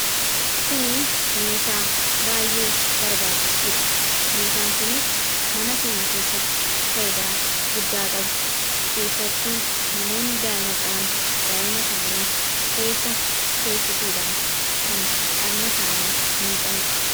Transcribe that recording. kuni meeshaa baay'ee barbaachistuudha. meeshaan kunis mana keenya keessatti faayidaa guddaa qabdi. keessattuu namoonni daa'ima qaban daa'ima isaanii keessa teessisuudhaan kan dhagna isaanii miicaniidha.